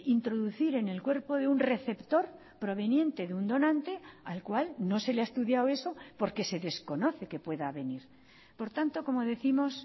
introducir en el cuerpo de un receptor proveniente de un donante al cual no se le ha estudiado eso porque se desconoce que pueda venir por tanto como décimos